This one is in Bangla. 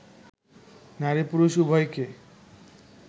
নারী-পুরুষ উভয়কে